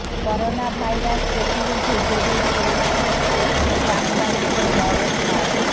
coronavirus প্রতিরোধে জরুরি ওষুধ ও কিট আমদানিতে বড় ছাড়